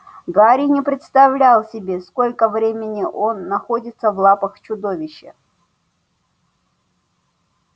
гарри не представлял себе сколько времени он находится в лапах чудовища